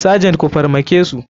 Sergent ku farmakesu.